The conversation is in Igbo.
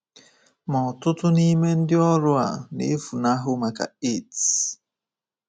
Ma ọtụtụ nime ndị ọrụ a na-efunahụ maka AIDS.